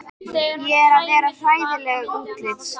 Ég er að verða hræðileg útlits.